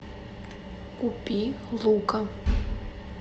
купи лука